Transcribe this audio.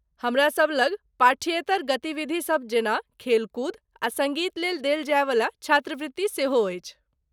हमरासभ लग पाठ्येतर गतिविधिसभ जेना खेलकूद आ सङ्गीत लेल देल जायवला छात्रवृत्ति सेहो अछि।